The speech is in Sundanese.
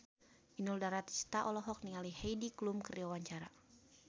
Inul Daratista olohok ningali Heidi Klum keur diwawancara